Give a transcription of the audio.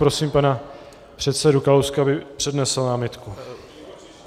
Prosím pana předsedu Kalouska, aby přednesl námitku.